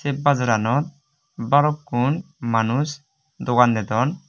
se bajaranot balukkun manus dogan dedon.